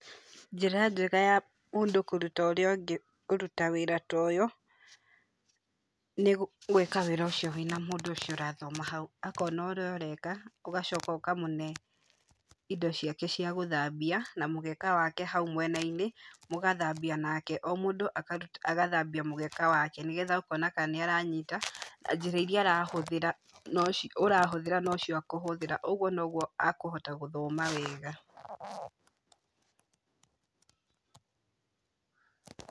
Njĩra njega ya mũndũ kũrũta ũria ũngĩ kũrũta wĩra ta ũyũ, nĩ gwĩka wĩra ũcio wena mũndũ ũcio ũrathoma hau, akona ũrĩa ũreka, ũgacoka ũkamũne indo ciake cia gũthambia na mũgeka wake hau mwena-inĩ mũgathambĩa nake, o mũndũ agathambia mũgeka wake, nĩgetha ũkona kana nĩ aranyita, njĩra ĩrĩa ũrahũthĩra no cio akũhũthĩra, ũguo no gũo akũhota gũthoma wega.